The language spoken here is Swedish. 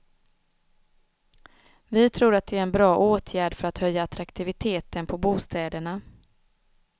Vi tror att det är en bra åtgärd för att höja attraktiviteten på bostäderna.